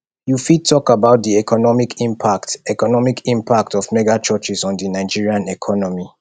you fit talk about di economic impact economic impact of megachurches on di nigerian economy